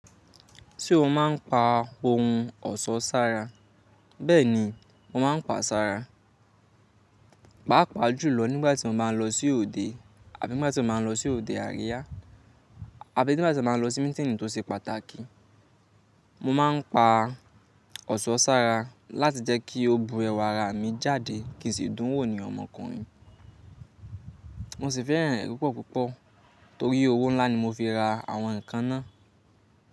Ṣé o máa ń pa ohun ọ̀ṣọ́ sára? Bẹ́ẹ̀ni, mo máa ń pa a sára, pàápàá jùlọ nígbà tí mo bá ń lọ sí òde àbí nígbà tí mo bá ń lọ sí òde àríyá, àbí nígbà tí mo bá ń lọ sí mí́tíìnì tó ṣe pàtàkì. Mo má ń pa ọ̀ṣọ́ sára láti jẹ́kí o bu ẹwà ara mi jáde kì sì dùn wò ní ọmọkùnrin. Mo sì fẹ́ràn rẹ̀ púpọ̀ púpọ̀ torí owó ńlá ni mo fi ra àwọn ǹkan náà.